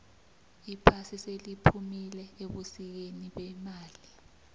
iphasi seliphumile ebusikeni bemali